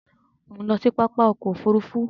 Mo ń lọ sí pápá ọkọ òfúrúúfú